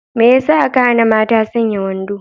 Me yasa aka hana mata sanya wando?